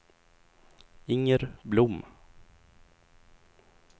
Inger Blom